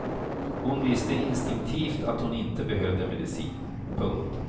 Hon visste instinktivt att hon inte behövde medicin. punkt